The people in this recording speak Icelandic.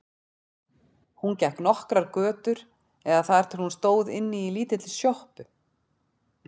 Hún gekk nokkrar götur eða þar til hún stóð inni í lítilli sjoppu.